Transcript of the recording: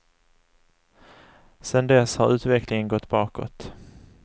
Sedan dess har utvecklingen gått bakåt.